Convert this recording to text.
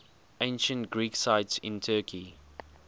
ancient greek sites in turkey